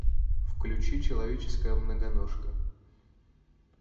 включи человеческая многоножка